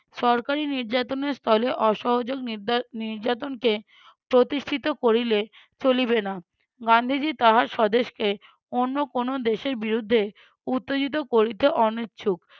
সরকারি নির্যাতনের স্থলে অসহযোগ নিরযা~ নির্যাতনকে প্রতিষ্ঠিত করিলে চলিবে না। গান্ধীজী তাহার স্বদেশকে অন্য কোনো দেশের বিরুদ্ধে উত্তেজিত করিতে অনিচ্ছুক